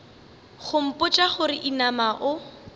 go mpotša gore inama o